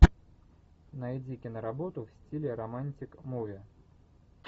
найди киноработу в стиле романтик муви